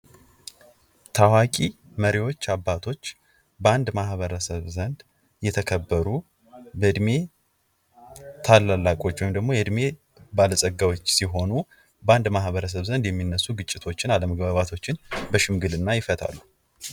እነዚህ መሪዎች በጠንካራ አመራራቸው፣ በጽናታቸውና ለአገራቸው ባላቸው የማይናወጥ ፍቅር ለትውልድ ትልቅ ትምህርት ይሰጣሉ